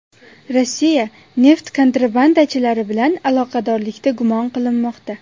Rossiya neft kontrabandachilari bilan aloqadorlikda gumon qilinmoqda.